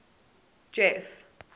jeff